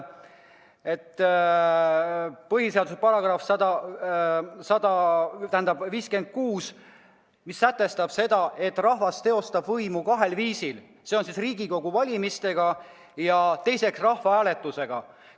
Põhiseaduse § 56 sätestab, et rahvas teostab riigivõimu kahel viisil: Riigikogu valimisega ja rahvahääletusega.